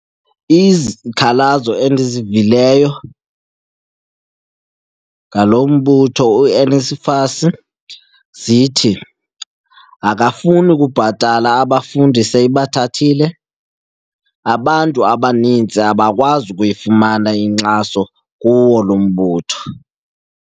Izikhalazo endizivileyo ngalo mbutho uNSFAS zithi akafuni ukubhatala abafundi seyibathile, abantu abaninzi abakwazi ukuyifumana inkxaso kuwo lo mbutho.